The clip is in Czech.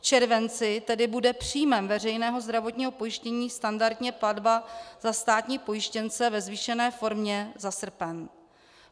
V červenci tedy bude příjmem veřejného zdravotního pojištění standardně platba za státní pojištěnce ve zvýšené formě za srpen.